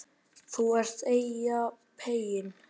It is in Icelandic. ÞÚ ERT EYJAPEYINN